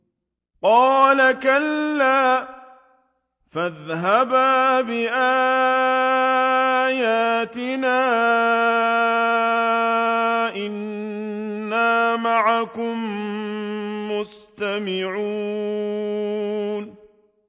قَالَ كَلَّا ۖ فَاذْهَبَا بِآيَاتِنَا ۖ إِنَّا مَعَكُم مُّسْتَمِعُونَ